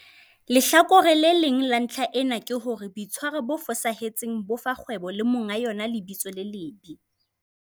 Lehlakore le leng la ntlha ena ke hore boitshwaro bo fosahetseng bo fa kgwebo le monga yona lebitso le lebe.